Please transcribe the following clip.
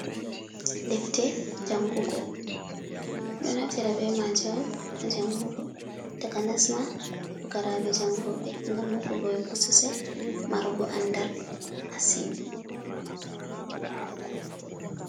Defte jangugo ɗo naftira be maje on ha jangugo takanas ma fugaraɓe jangoɓe ngam hokugo ɓe bososel marugo andal massin.